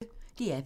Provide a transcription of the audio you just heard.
DR P1